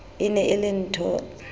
e ne e le nthho